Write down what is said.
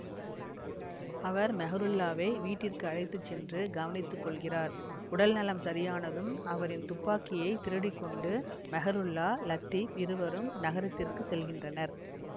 அவர் மெஹ்ருல்லாவை வீட்டிற்கு அழைத்து சென்று கவனித்து கொள்கிறார் உடல் நலம் சரியானதும் அவரின் துப்பாக்கியை திருடிக்கொண்டு மெஹ்ருல்லா லத்தீப் இருவரும் நகரத்திற்கு செல்கின்றனர்